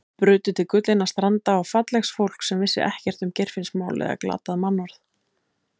Burtu til gullinna stranda og fallegs fólks sem vissi ekkert um Geirfinnsmál eða glatað mannorð.